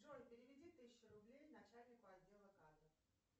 джой переведи тысячу рублей начальнику отдела кадров